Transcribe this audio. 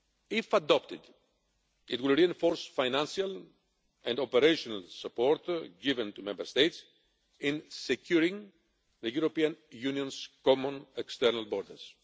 If adopted, it will reinforce financial and operational support given to Member States in securing the European Union's common external borders.